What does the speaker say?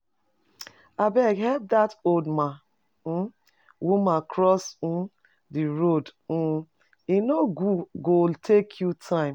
Abeg, help that old man [uhm]woman uhm cross the road, uhm e no go take your time.